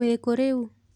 Wĩkũ rĩu?